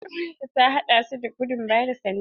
Er'uwar ki ta haɗa da su a gudun ba da sanda?